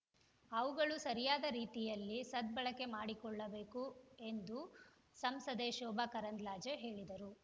ಅವುಗಳು ಸರಿಯಾದ ರೀತಿಯಲ್ಲಿ ಸದ್ಬಳಕೆ ಮಾಡಿಕೊಳ್ಳಬೇಕು ಎಂದು ಸಂಸದೆ ಶೋಭಾ ಕರಂದ್ಲಾಜೆ ಹೇಳಿದರು